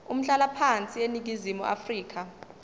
umhlalaphansi eningizimu afrika